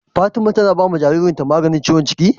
Fatima tAna bawa jarirn ta magani maganin ciwon cikin?